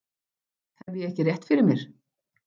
Hef ég ekki rétt fyrir mér?